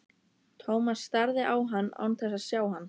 Thomas starði á hann án þess að sjá hann.